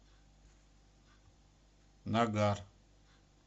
нагар